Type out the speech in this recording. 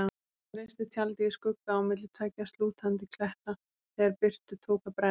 Hann reisti tjaldið í skugga á milli tveggja slútandi kletta þegar birtu tók að bregða.